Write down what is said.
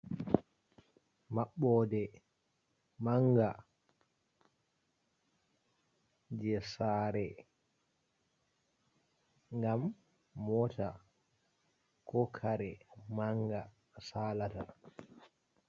Mabbode manga je sare gam mota ko kare manga salat.